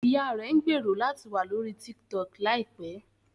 Ìyá rẹ̀ ń gbèrò láti wà lórí TikTok láìpẹ́